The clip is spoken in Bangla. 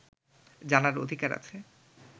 জানার অধিকার আছে